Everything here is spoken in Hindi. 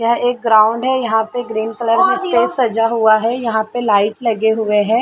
यह एक ग्राउंड है यहाँ पे ग्रीन कलर में स्टेज सजा हुआ है यहाँ पे लाइट लगे हुए हैं ।